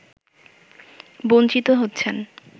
বঞ্চিত হচ্ছেন